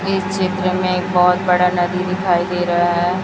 इस चित्र में एक बहुत बड़ा नदी दिखाई दे रहा है।